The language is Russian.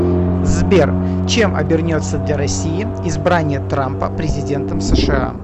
сбер чем обернется для россии избрание трампа президентом сша